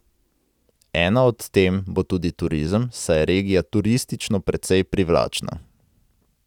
Ena od tem bo tudi turizem, saj je regija turistično precej privlačna.